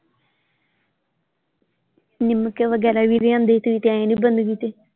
ਲਿਮਕੇ ਵਗੈਰਾ ਵੀ ਲਿਆਂਦੇ ਸੀਗੇ ਤੁਸੀਂ ਗਏ ਨਹੀਂ ਬੰਦਗੀ ਤੇ।